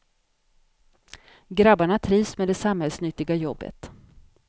Grabbarna trivs med det samhällsnyttiga jobbet.